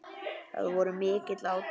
Það voru mikil átök.